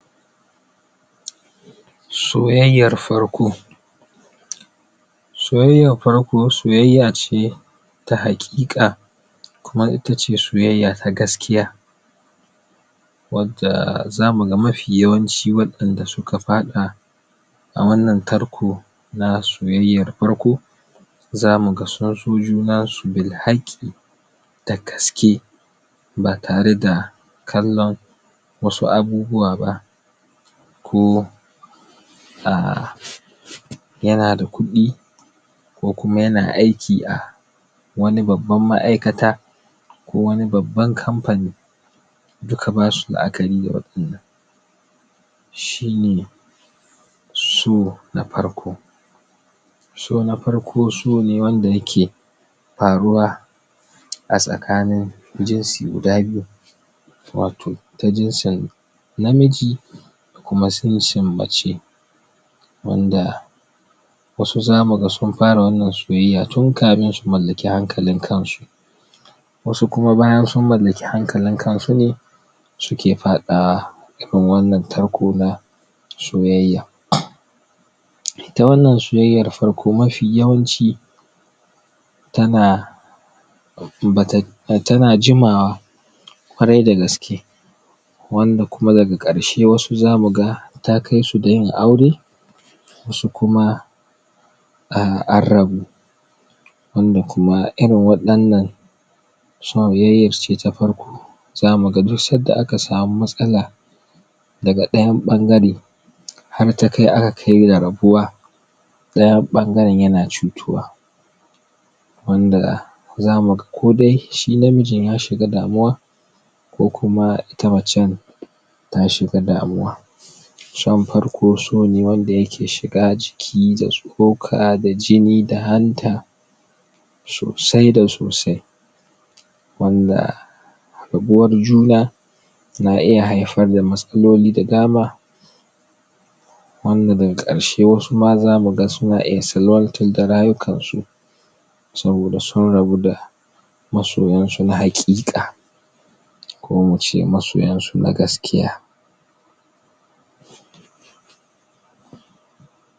soyayyar farko soyayyar farko soyayya ce ta hakika kuma itace soyayya ta gaskiya wadda za mu ga mafiyawanchi wadanda su ka wadda zamu ga mafiyawanchi za mu ga wadanda su ka fada a wannan tarko na soyayyar farko za mu ga sun so junan su bil haki da gaske ba tare da kalon wasu abubuwa ba jo ko a yana da kudi ko kuma ya na aiki a wani babban ma'aikata ko wani babban company duka basu la'akari? shi ne so na farko so na farko so ne wanda ya ke faruwa a tsakanin jinsi guda biyu watau ta jinsin namiji da kuma sincin mace wanda wasu za mu ga sun fara wannan soyayya tun kamin su mallaki hankalin kan su wasu bayan su mallaki hankalin kan su ne su ke fadawa tun wannan tarko na soyayya ita wannan soyayyar farko mafi yawanchi ta na ta na jimawa kwarai da gaske wanda kuma daga karshe wasu za mu ga ta kai su da yin aure wasu kuma an rabu wanda kuma irin wadan nan soyayyar ce ta farko za mu ga duk san da aka samu matsala daga dayan bangare har ta kai aka kai ga rabuwa dayan bangaren ya na cutuwa wanda za mu ga kodai shi namijin ya shiga damuwa ko kuma ita macen ta shi ga damuwa tun farko so ne wanda ya ke shiga a jiki da soka da jini da hanta sosai da sosai wanda rabuwar juna na iya haifar da matsaloli da dama wanda da ga karshe wasu ma za mu ga su na iya salwatar da rayukan su soboda sun rabu da masoyan su na hakika ko mu ce masoyan su na gaskiya